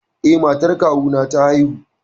Eh, matar kawuna ta haihu.